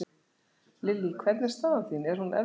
Lillý: Hvernig er staðan þín, er hún erfið?